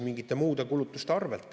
Mingite muude kulutuste arvel.